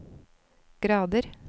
grader